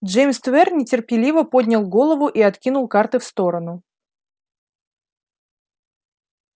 джеймс твер нетерпеливо поднял голову и откинул карты в сторону